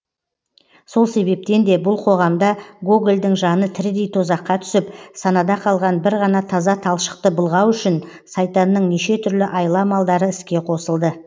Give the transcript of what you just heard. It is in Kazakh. сол себептен де бұл қоғамда гогольдің жаны тірідей тозаққа түсіп санада қалған бір ғана таза талшықты былғау үшін сайтанның неше түрлі айла амалдары іске қосылды